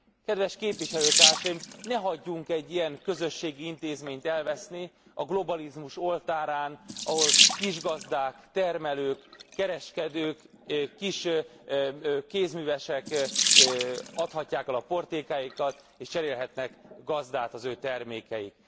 Kedves képviselőtársaim, ne hagyjunk egy ilyen közösségi intézményt elveszni a globalizmus oltárán, ahol kisgazdák, termelők, kereskedők, kis kézművesek adhatják el a portékáikat és cserélhetnek gazdát az ő termékeik.